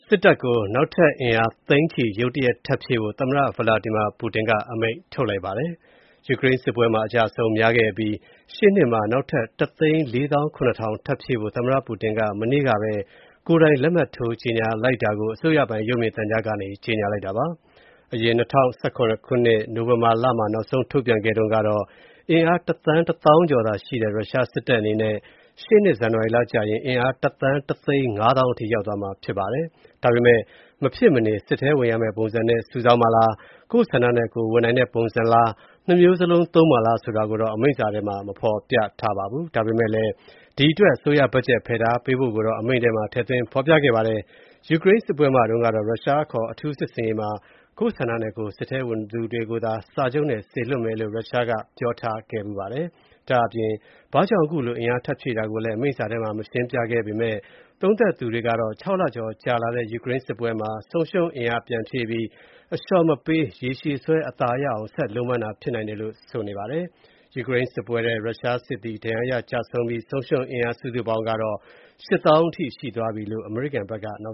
စစ်တပ်ကို နောက်ထပ်အင်အား သိန်းနဲ့ချီ ဖြည့်ဆည်းဖို့ သမ္မတ Vladimir Putin က အမိန့်ထုတ်လိုက်ပါတယ်။ ယူကရိန်းစစ်ပွဲမှာ အကျအဆုံးများခဲ့တဲ့ ရုရှားတပ်အတွက် ရှေ့နှစ်မှာ နောက်ထပ် ၁၃၇,၀၀၀ ထပ်ပြီးဖြည့်ဖို့ သမ္မ္မတ Putin က မနေ့ကပဲ ကိုယ်တိုင် လက်မှတ်ထိုးခဲ့တာကို အစိုးရပိုင် ရုပ်မြင်သံကြားကနေ ကြေညာလိုက်တာပါ။ အရင် ၂၀၁၇ ခုနှစ် နိုဝင်ဘာလမှာ နောက်ဆုံးထုတ်ပြန်ခဲ့တုံးက အင်အား တသန်း၊ တသောင်းကျော်ရှိတဲ့ ရုရှားတပ်အနေနဲ့ ရှေ့နှစ် ဇန်နဝါရီကျရင် အင်အား တသန်း တသိန်း ၅ သောင်းအထိ ရောက်သွားမှာဖြစ်ပါတယ်။ ဒါပေမယ့် မဖြစ်မနေဝင်ရမယ့်ပုံစံနဲ့ စုဆောင်းမှာလား၊ ကိုယ့်ဆန္ဒနဲ့ကိုယ်ဝင်နိုင်တဲ့ ပုံစံလား၊ ၂ မျိုးစလုံးသုံးမှာလားဆိုတာကိုတော့ အမိန့်စာထဲ ဖေါ်ပြမထားပါဘူး။ ဒါပေမယ့်လည်း ဒီအတွက် အစိုးရဘတ်ဂျက် ဖယ်ထားပေးဖို့တော့ ထည့်သွင်းဖော်ပြခဲ့ပါတယ်။ ယူကရိန်းစစ်ပွဲမှာတုန်းကတော့ ရုရှားအခေါ် အထူးစစ်ဆင်ရေးမှာ ကိုယ့်ဆန္ဒနဲ့ကိုယ် စစ်ထဲဝင်သူတွေကိုသာ စာချုပ်နဲ့ စေလွှတ်မယ်လို့ ရုရှားက ပြောထားခဲ့ဖူးပါတယ်။ ဒါ့အပြင် ဘာကြောင့် အခုလို အင်အားထပ်ဖြည့်တာကို အမိန့်စာထဲ ရှင်းပြမထားပေမယ့် ဒါဟာ ၆ လကျော်ကြာလာတဲ့ ယူကရိန်းစစ်ပွဲမှာ ဆုံးရှုံးသွားတဲ့ အင်အားကို ပြန်ဖြည့်တင်းတာမျိုးဖြစ်နိုင်တယ်လို့ အကဲခတ်တွေက သုံးသပ်ကြပါတယ်။ ယူကရိန်း စစ်ပွဲမှာ ဒဏ်ရာရရ သေဆုံးရတဲ့ ရုရှားစစ်သည်က ၈ သောင်း လောက် ရှိသွားပြီလို့ အမေရိကန်ဘက်က ပြော